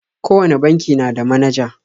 Kowane banki na da manaja.